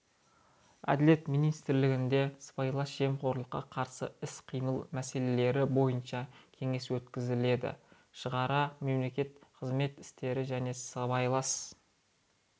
әділет министрлігінде сыбайлас жемқорлыққа қарсы іс-қимыл мәселелері бойынша кеңес өткізіледі шараға мемлекеттік қызмет істері және сыбайлас